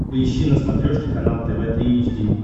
поищи на смотрешке канал тв три эйч ди